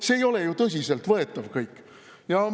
See kõik ei ole ju tõsiselt võetav!